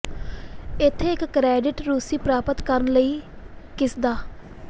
ਇੱਥੇ ਇੱਕ ਕਰੈਡਿਟ ਰੂਸੀ ਪ੍ਰਾਪਤ ਕਰਨ ਲਈ ਕਿਸ ਦਾ